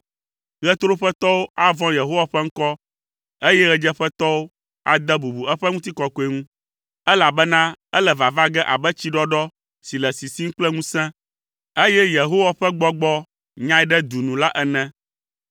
Ɣetoɖoƒetɔwo avɔ̃ Yehowa ƒe ŋkɔ, eye ɣedzeƒetɔwo ade bubu eƒe ŋutikɔkɔe ŋu, elabena ele vava ge abe tsiɖɔɖɔ si le sisim kple ŋusẽ, eye Yehowa ƒe gbɔgbɔ nyae ɖe du nu la ene.